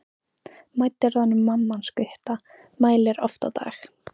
Mædd er orðin mamma hans Gutta, mælir oft á dag.